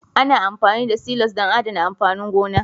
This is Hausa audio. Ana amfani da silos don adana amfanin gona